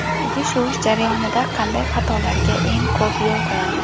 Idish yuvish jarayonida qanday xatolarga eng ko‘p yo‘l qo‘yamiz?